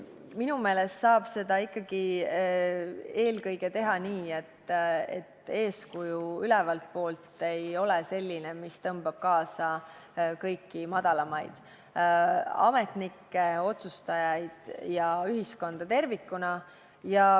Minu meelest saab seda teha eelkõige ikkagi nii, et eeskuju ülevalt poolt ei ole selline, mis tõmbab kaasa kõiki madalamaid ametnikke, otsustajaid ja ühiskonda tervikuna.